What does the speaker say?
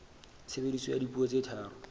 tshebediso ya dipuo tse tharo